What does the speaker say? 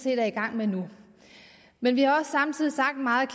er i gang med nu men vi har samtidig sagt meget